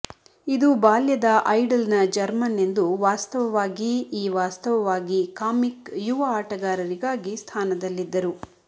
ಇದು ಬಾಲ್ಯದ ಐಡಲ್ ನ ಜರ್ಮನ್ ಎಂದು ವಾಸ್ತವವಾಗಿ ಈ ವಾಸ್ತವವಾಗಿ ಕಾಮಿಕ್ ಯುವ ಆಟಗಾರರಿಗಾಗಿ ಸ್ಥಾನದಲ್ಲಿದ್ದರು